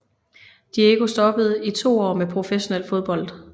Diego stoppede i 2 år med professionel fodbold